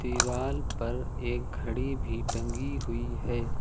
दीवाल पर एक घड़ी भी टंगी हुई है।